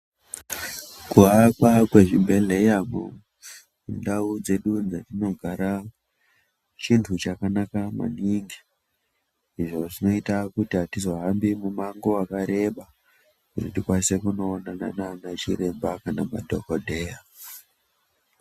Kuwakwa kwezvibhedhlera mundau dzedu dzatogara chinhu chakanaka maningi izvi zvinozoita kuti atizohambi mumango wakareba maningi kuti nditokwanisa kuonana nanachiremba kana madhokodheya.